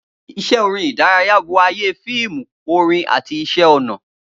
Iṣẹ́ ìròyìn ìdárayá bo ayé fíìmù, orin àti iṣẹ́ ọnà.